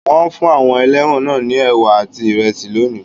Wọ́n fún àwọn ẹlẹ́wọ̀n náà ní ẹ̀wà àti ìrẹsì lónìí.